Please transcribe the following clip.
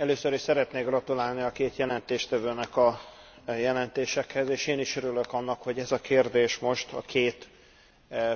Először is szeretnék gratulálni a két jelentéstevőnek a jelentésekhez, és én is örülök annak, hogy ez a kérdés most, a két